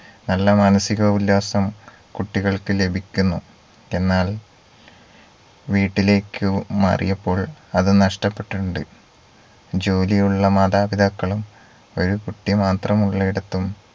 നല്ല മാനസിക ഉല്ലാസം കുട്ടികൾക്ക് ലഭിക്കുന്നു എന്നാൽ വീട്ടിലേക്ക് മാറിയപ്പോൾ അത് നഷ്ടപ്പെട്ടിട്ടുണ്ട് ജോലി ഉള്ള മാതാപിതാക്കളും ഒരു കുട്ടി മാത്രമുള്ളിടത്തും